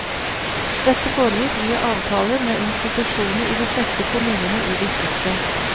Dette foregikk via avtaler med institusjoner i de fleste kommunene i distriktet.